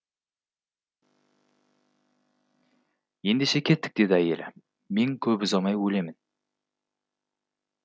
ендеше кеттік деді әйелі мен көп ұзамай өлемін